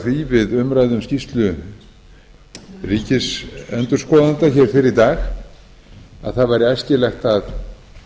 því við umræðu um skýrslu ríkisendurskoðanda hér fyrr í dag að það væri æskilegt að